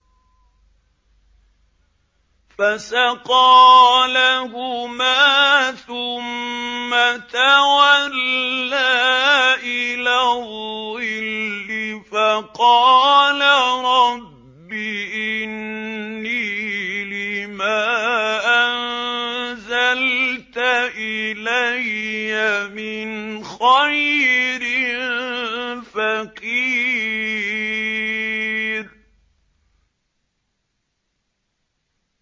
فَسَقَىٰ لَهُمَا ثُمَّ تَوَلَّىٰ إِلَى الظِّلِّ فَقَالَ رَبِّ إِنِّي لِمَا أَنزَلْتَ إِلَيَّ مِنْ خَيْرٍ فَقِيرٌ